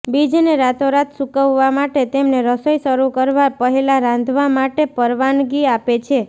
બીજને રાતોરાત સૂકવવા માટે તેમને રસોઈ શરૂ કરવા પહેલાં રાંધવા માટે પરવાનગી આપે છે